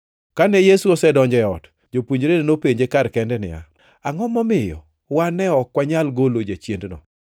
Kane Yesu osedonjo e ot, jopuonjrene nopenje kar kende niya, “Angʼo momiyo wan ne ok wanyal golo jachiendno?”